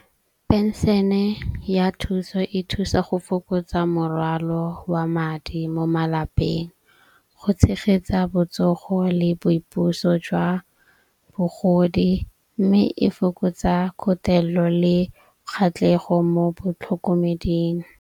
Penšene ya thuso e thusa go fokotsa morwalo wa madi mo malapeng go tshegetsa botsogo le boipuso jwa bogodi. Mme e fokotsa kgotlelelo le kgatlhego mo botlhokomeding.